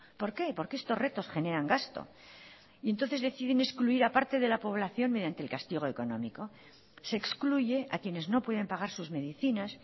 por qué porque estos retos generan gasto y entonces deciden excluir a parte de la población mediante el castigo económico se excluye a quienes no pueden pagar sus medicinas